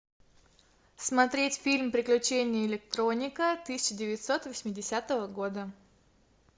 смотреть фильм приключения электроника тысяча девятьсот восьмидесятого года